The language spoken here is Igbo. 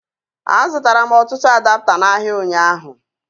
A zụtara m ọtụtụ adapta n'ahịa ụnyaahụ